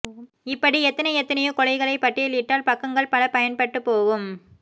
இப்படி எத்தனை எத்தனையோ கொலைகளைப் பட்டியலிட்டால் பக்கங்கள் பல பயன்பட்டுப் போகும்